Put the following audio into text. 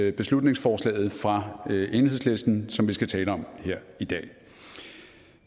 i beslutningsforslaget fra enhedslisten som vi skal tale om her i dag